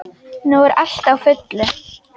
Nú er allt á fullu.